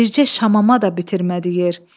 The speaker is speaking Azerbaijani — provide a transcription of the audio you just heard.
Bircə şamama da bitirmədi yer.